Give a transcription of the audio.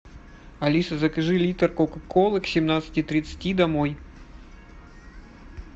алиса закажи литр кока колы к семнадцати тридцати домой